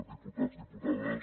diputats diputades